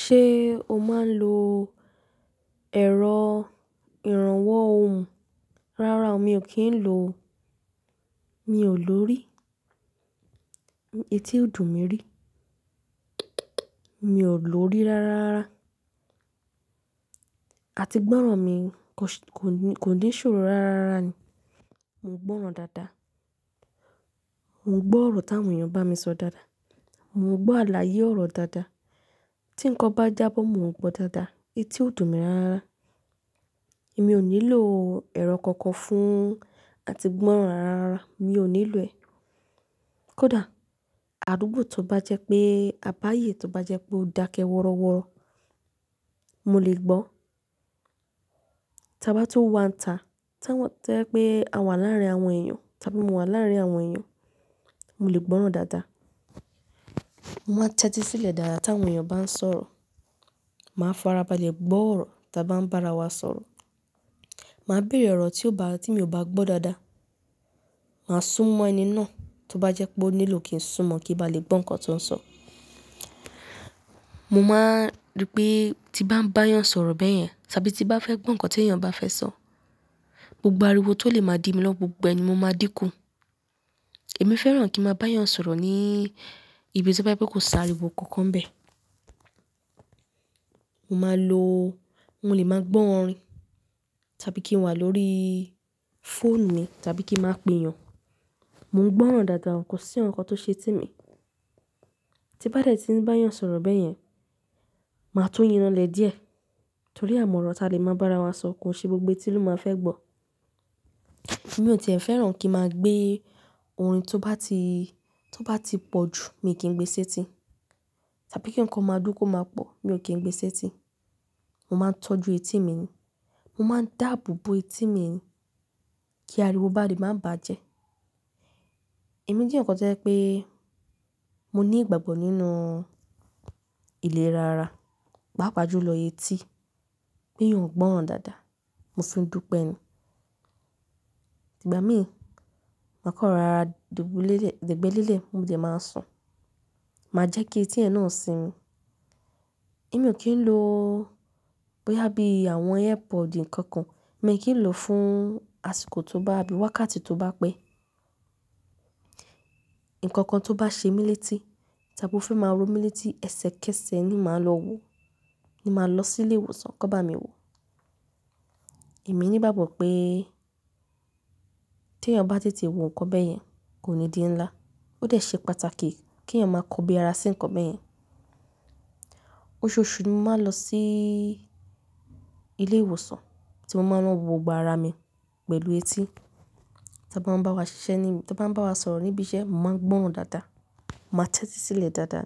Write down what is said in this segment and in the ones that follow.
Ṣé o máa ń lo ẹ̀rọ ìrànwọ́ ohùn? Rárá, mi ò kí ń lo. Mi ò lò ó rí. Eti ò dùn mi rí. Mi ò lò ó rí rárára. Àti gbọ́ràn mi kò ní, kò ní ṣòro rárára ni. Mo ń gbọ́ràn dáadáa. Mo ń gbọ́ ọ̀rọ̀ táwọn èèyàn bá mi sọ dáadáa. Mo ń gbọ́ àlàyé ọ̀rọ̀ dáadáa. Tí ǹkan bá jábọ̀, mo ń gbọ́ dáadáa. Eti ò dùn mi rárá. Èmi ò nílò ẹ̀rọ kankan fún àti gbọ́ràn rárára. Mi ò nílò ẹ̀. Kódà àdúgbò tó bá jẹ́ pé a bá yè, tó bá jẹ́ pé ó dákẹ́ wọrọ́wọrọ́, mo lè gbọ́. Tí a bá tun wá nta, to jẹ pé àwa láàárín àwọn èèyàn, tabi mo wà láàárín àwọn èèyàn, mo lè gbọ́ràn dáadáa. Mo máa ń tẹ́tí sílẹ̀ dáadáa táwọn èèyàn bá ń sọ̀rọ̀. Màá fara balẹ̀ gbọ́ ọ̀rọ̀ ti a bá ń bá ara wa sọ̀rọ̀. Màá bèrè ọ̀rọ̀ tí ò bá, tí mi ò bá gbọ́ dáadáa. Màá súnmọ́ ẹni náà tó bá jẹ́ pé ó nílò kí n súnmọ́ kí ó ba lè gbọ́ nǹkan tó ń sọ. Mo máa n rí pé tí bá ń bá èèyàn sọ̀rọ̀ bẹ́yẹn, tàbí tí bá fẹ́ gbọ́ nǹkan tí èèyàn bá fẹ́ sọ, gbogbo ariwo tó lè máa dí mi lọ gbogbo ẹni mo máa dínkù. Èmi fẹ́ràn kí n máa bá èèyàn sọ̀rọ̀ ní ibi tí ó bá jẹ́ kó s'ariwo kankan bẹ́ẹ̀. Mo máa lò ó, mo lè máa gbọ́ orin tàbí kí n wà lórííí fóònù mi tàbí kí ń máa pèèyàn. Mo ń gbọ́ràn dáadáa, kò sí ǹkan tó ṣe mí. Tí bá dẹ̀ tí ń bá èèyàn sọ̀rọ̀ bẹ́yẹn, màá tun yinranlẹ̀ díẹ̀ torí àmọ̀ ọ̀rọ̀ tá lè máa bá ara wa sọ kò ṣe gbogbo tí ló máa fẹ́ gbọ́. Èmi ò tì fẹ́ràn kí n máa gbé orin tó bá ti, tó bá ti pọ̀ ju mi kí n gbé e séti. Tàbí kí ǹkan máa dún kó máa pọ̀, mi ò kí ń gbé e séti. Mo máa ń tọ́jú etí mi ni. Mo máa ń dàabo bo etí mi kí ariwo bá lè máa bàjẹ́. Èmi jẹ́ eryan kan tó jẹ́ pé mo ní ìgbàgbọ́ nínú ilérá ara, paapa júlọ etí, pé'yàn ń gbọ́ràn dáadáa. Mo fi ń dùpẹ́ ẹni. Ìgbà mí, màá kan rora dubulélẹ̀, dẹ̀gbẹ́lélẹ̀ mo dè máa sùn. Màá jẹ́ kí etí yẹn náà sin mi. Èmi ò kí ń lo bóyá bí àwọn airpod nǹkan kan, èmi ò kí ń lò ó fún àsìkò tó bá bí wákàtí tó bá pẹ́. Ǹkankan tó bá ṣemí létí tàbí ó fẹ́ máa ró mí létí ẹsẹ̀kẹsẹ̀ ni màá lọ wo, ni màá lọ sí ilé ìwòsàn kó bá mi wo. Èmi ní ìgbàgbọ́ pé tí èèyàn bá tètè wo nǹkan bẹ́yẹn kò ní di ńlá. Ó dẹ̀ ṣe pàtàkì kí èèyàn máa kọ bí ara sí nǹkan bẹ́yẹn. Oṣooṣù ni mo máa ń lọ síí ilé ìwòsàn tí mo máa ń lọ wo gbogbo ara mi pẹ̀lú etí. Tí wọ́n bá ń bá wa ṣiṣẹ́ ni, tí wọ́n bá ń bá wa sọ̀rọ̀ níbí iṣẹ́, mo máa ń gbọ́ràn dáadáa. Mo máa ń tẹ́tí sílẹ̀ dáadáa.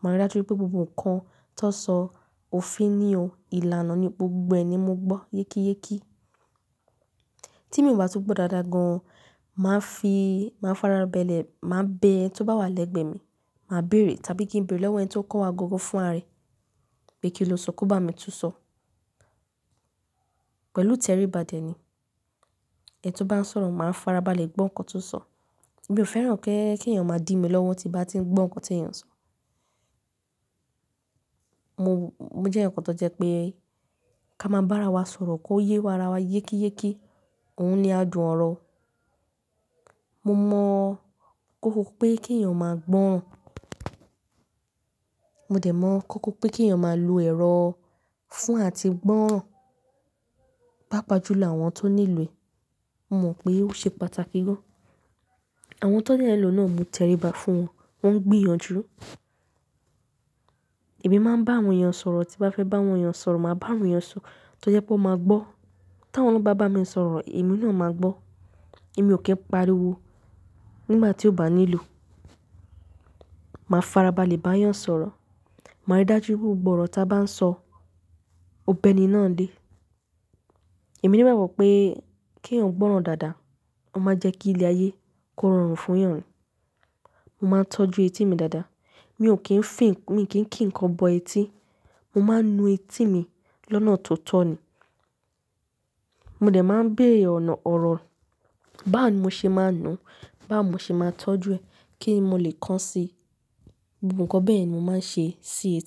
Mo máa rí dájú pé gbogbo ǹkan tó sọ òfin ní o, ìlànà ní gbogbo ẹ ni mo gbọ́ yékéyéké. Tí èmi ò bá tú gbọ́ dáadáa gan an, màá fi, màá fara balẹ̀, màá bẹ ẹni tó bá wà lẹ́gbẹ̀ẹ́ mi, màá bèrè tàbí kí n bèrè lọ́wọ́ ẹni tí ó kọ́ wa gangan fún'ra rẹ̀ pé kí ló sọ kó bá mi tún sọ. Pẹ̀lú ìtẹríba dẹ̀ ni. Ẹni tó bá ń sọ̀rọ̀, màá fara balẹ̀ gbọ́ nǹkan tó ń sọ. Èmi ò fẹ́ràn kí èèyàn máa dí mi lọ́wọ́ tí bá ti ń gbọ́ nǹkan tí èèyàn ń sọ. Mo, mo jẹ́ eeyaǹ kan tó jẹ́ pé ká máa bá ara wa sọ̀rọ̀ kó yé wa ara wa yékéyéké, òun ni adùn ọ̀rọ̀. Mo mọ̀ kókó pé kí èèyàn máa gbọ́ran. Mo dẹ̀ mọ̀ kókó pé kí èèyàn máa lo ẹ̀rọ fún àti gbọ́ràn pápa jú lọ àwọn tó nílò è. Mo mọ̀ pé ó ṣe pàtàkì gan. Àwọn tan dẹ́ n lò náà mo tẹríba fún wọn, wọ́n ń gbìyànjú. Èmi máa ń bá àwọn èèyàn sọ̀rọ̀, tí bá fẹ́ bá àwọn èèyàn sọ̀rọ̀, màá bá àwọn èèyàn sọ, tí ó jẹ́ pé wọ́n máa gbọ́. Tí àwọn naa bá bá mi sọ̀rọ̀, èmi náà máa gbọ́. Èmi ò kí ń paríwo nígbà tí ó bá nílò. Màá fara balẹ̀ bá èèyàn sọ̀rọ̀. Màá rí dájú pé gbogbo ọ̀rọ̀ tá a bá ń sọ, ó bẹ́ni náà nlé. Èmi ní ìgbàgbọ́ pé kí èèyàn gbọ́ràn dáadáa, ó máa jẹ́ kí ilé ayé kó rọrùn fún èèyàn. Mo máa ń tọ́jú etí mi dáadáa. Mi ò kí ń fìn, mi ò kí ń kí ǹkan bọ etí. Mo máa ń nu etí mi lọ́nà tó tọ̀ ni. Mo dẹ̀ máa ń bèere ọ̀nà ọ̀rọ̀ báwo ni mo ṣe máa ń nu, báwo mo ṣe máa tọ́jú ẹ kínni mo lè kàn sí i. Gbogbo ǹkan bẹ́ẹ̀yen ni mo máa ń ṣe sí i.